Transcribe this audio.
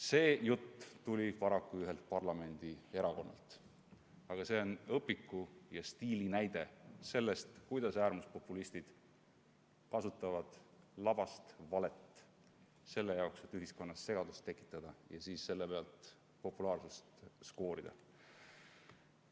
See jutt tuli paraku ühelt parlamendierakonnalt ning on õpikunäide selle kohta, kuidas äärmuspopulistid kasutavad labast valet, et ühiskonnas segadust tekitada ja siis selle pealt populaarsust skoorida.